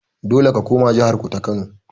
Dole ka koma jahar ku ta kano.